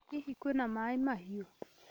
Hihi kwĩna maĩ mahiũ?